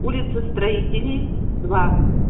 улица строителей два